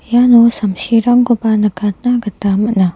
iano samsirangkoba nikatna gita man·a.